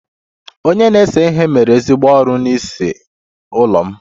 Onye na-ese ihe mere ezigbo ọrụ n'ịse ụlọ m